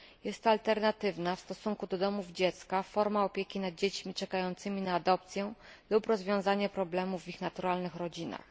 Jest to alternatywna, w stosunku do domów dziecka, forma opieki nad dziećmi czekającymi na adopcję lub rozwiązanie problemów w ich naturalnych rodzinach.